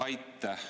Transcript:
Aitäh!